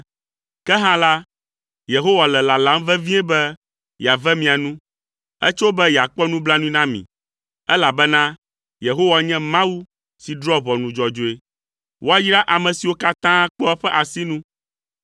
Ke hã la, Yehowa le lalam vevie be yeave mia nu; etso be yeakpɔ nublanui na mi, elabena Yehowa nye Mawu si drɔ̃a ʋɔnu dzɔdzɔe. Woayra ame siwo katã kpɔa eƒe asinu.